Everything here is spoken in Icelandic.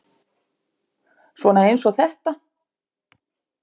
Svona eins og þetta!